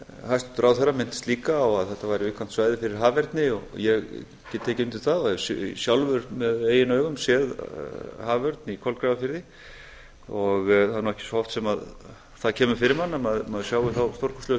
hæstvirtur ráðherra minntist líka á að þetta væri viðkvæmt svæði fyrir haferni og ég get tekið undir það hef sjálfur með eigin augum séð haförn í kolgrafafirði það er nú ekki svo oft sem það kemur fyrir mann að maður sjái þá stórkostlegu